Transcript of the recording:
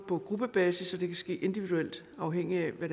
på gruppebasis og individuelt afhængigt af hvad